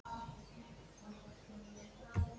en ég finn hana